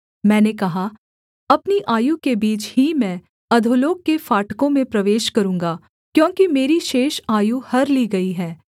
मैंने कहा अपनी आयु के बीच ही मैं अधोलोक के फाटकों में प्रवेश करूँगा क्योंकि मेरी शेष आयु हर ली गई है